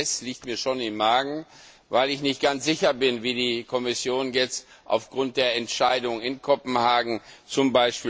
ETS liegt mir schon im Magen, weil ich nicht ganz sicher bin, wie die Kommission jetzt aufgrund der Entscheidung in Kopenhagen z.